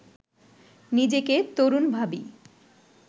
নিজেকে তরুণ ভাবি